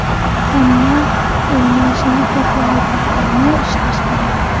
Hamma o‘ynashni xohlaydi, ammo ishlash kerak.